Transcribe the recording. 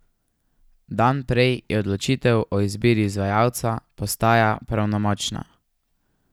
Dan prej je odločitev o izbiri izvajalca postaja pravnomočna.